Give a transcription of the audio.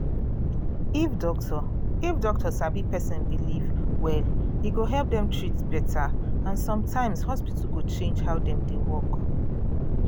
if doctor if doctor sabi person belief well e go help dem treat better and sometimes hospital go change how dem dey work